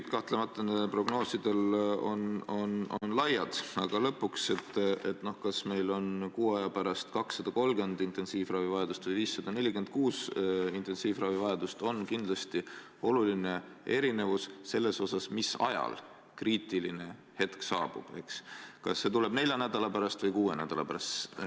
Eks kahtlemata nende prognooside usalduspiirid on laiad, aga lõpuks, kas meil on kuu aja pärast 230 intensiivravivajadust või 546 intensiivravivajadust, siin on kindlasti oluline erinevus selles mõttes, mis ajal kriitiline hetk saabub, kas see tuleb nelja nädala või kuue nädala pärast.